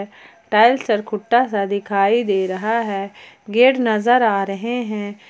Tiles चरखुट्टा सा दिखाई दे रहा है गेट नजर आ रहे हैं।